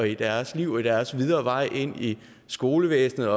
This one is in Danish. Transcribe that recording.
i deres liv og i deres videre vej ind i skolevæsenet